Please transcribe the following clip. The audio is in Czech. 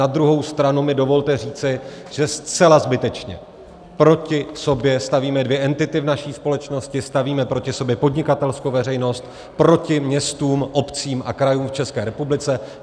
Na druhou stranu mi dovolte říci, že zcela zbytečně proti sobě stavíme dvě entity v naší společnosti, stavíme proti sobě podnikatelskou veřejnost proti městům, obcím a krajům v České republice.